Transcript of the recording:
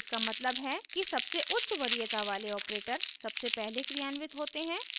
इसका मतलब है कि सबसे उच्च वरीयता वाले ऑपरेटर सबसे पहले क्रियान्वित होते हैं